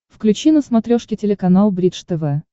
включи на смотрешке телеканал бридж тв